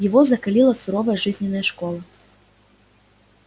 его закалила суровая жизненная школа